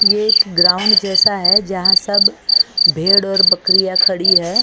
ये एक ग्राउंड जैसा है जहां सब भेड़ और बकरियां खड़ी है।